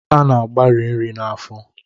A na-agbari nri n'afọ